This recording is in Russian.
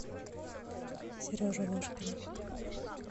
сережу ложкина